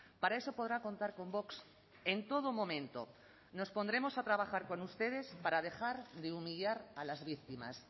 para eso podrá contar con vox en todo momento nos pondremos a trabajar con ustedes para dejar de humillar a las víctimas